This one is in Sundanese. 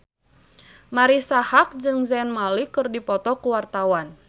Marisa Haque jeung Zayn Malik keur dipoto ku wartawan